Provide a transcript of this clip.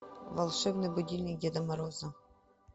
волшебный будильник деда мороза